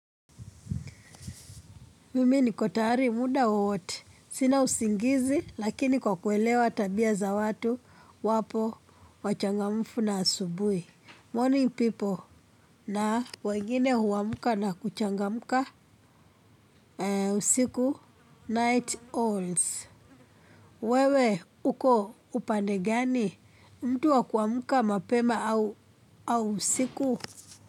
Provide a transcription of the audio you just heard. Mimi niko tayari muda wowote. Sina usingizi lakini kwa kuelewa tabia za watu wapo wachangamfu na asubui. Morning people na wengine huamka na kuchangamka usiku night owls. Wewe, uko upande gani? Mtu wakuamka mapema au usiku?